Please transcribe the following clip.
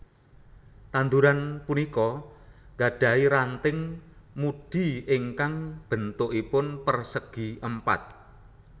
Tanduran punika gadahi ranting mudi ingkang béntukipun pérsègi Èmpat